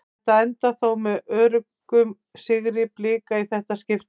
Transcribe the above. Þetta endar þó með öruggum sigri Blika í þetta skiptið.